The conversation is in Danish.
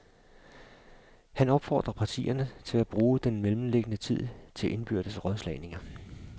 Han opfordrer partierne til at bruge den mellemliggende tid til indbyrdes rådslagninger.